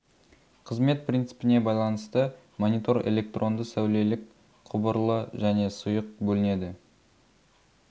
қызмет принципіне байланысты монитор электронды-сәулелік құбырлы және сұйық бөлінеді